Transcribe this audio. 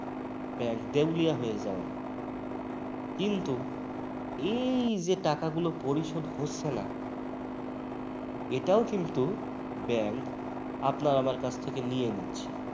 bank দেওলিয়া হয়ে যাওয়ার। কিন্তু এই যে টাকাগুলা পরিশোধ হচ্ছে না এটাও কিন্তু bank আপনার আমার কাছ থেকে নিয়ে নিচ্ছে